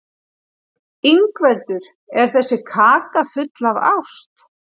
Ingveldur: Er þessi kaka full af ást?